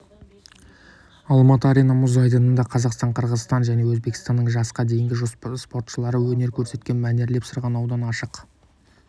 алматы арена мұз айдынында қазақстан қырғызстан және өзбекстанның жасқа дейінгі спортшылары өнер көрсеткен мәнерлеп сырғанаудан ашық